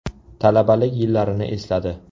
Talabalik yillarini esladi.